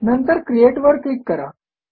नंतर क्रिएट वर क्लिक करा